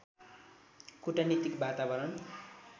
कूटनीतिक वातावरण